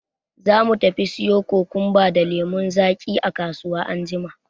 Za mu tafi siyo kokumba da lemun zaki a kasuwa anjima.